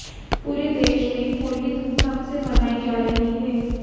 पूरे देश में होली धूमधाम से मनाई जा रही है